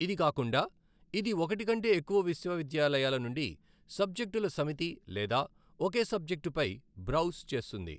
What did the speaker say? ఇది కాకుండా ఇది ఒకటి కంటే ఎక్కువ విశ్వవిద్యాలయాల నుండి సబ్జెక్టుల సమితి లేదా ఒకే సబ్జెక్టుపై బ్రౌజ్ చేస్తుంది.